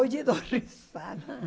Hoje eu dou risada.